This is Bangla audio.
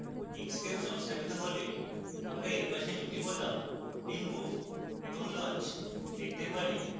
inkscape সংস্থাপিত হলে আমরা এর পাশে দুটি বোতামে remove এবং launch দেখতে পারি